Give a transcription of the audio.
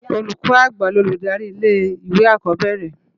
Ólúkò ágbá lólúdári ilé iwé ákó bèrè